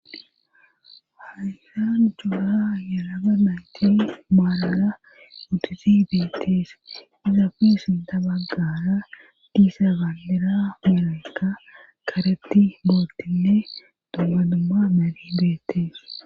haysanjoora ayanaga nayti maarana untizibetis iza kuisintabaggaara diisa ganlera meraka karetti bootinne domanumma malidettees